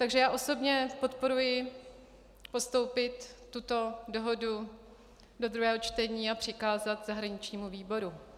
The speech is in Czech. Takže já osobně podporuji postoupit tuto dohodu do druhého čtení a přikázat zahraničnímu výboru.